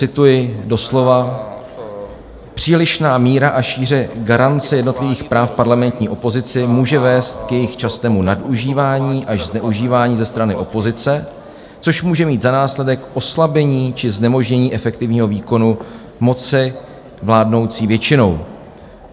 Cituji doslova: "Přílišná míra a šíře garance jednotlivých práv parlamentní opozici může vést k jejich častému nadužívání až zneužívání ze strany opozice, což může mít za následek oslabení či znemožnění efektivního výkonu moci vládnoucí většinou.